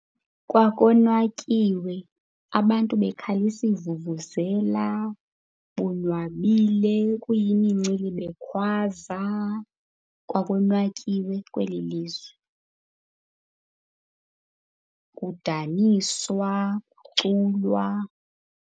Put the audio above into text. Kwakonwatyiwe, abantu bekhalisa iivuvuzela bonwabile, kuyimincili bekhwaza. Kwakonwatyiwe kweli lizwe, kudaniswa, kuculwa.